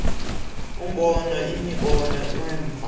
ubona imibono uva